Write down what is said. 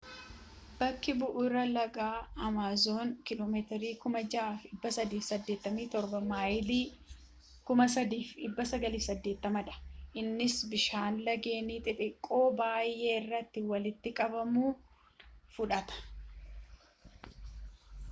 bakki bu’uura laga amaazon km 6,387 maayilii 3,980 dha. innis bishaan lageen xixxiqqoo baayee irraa walitti qabun fudhata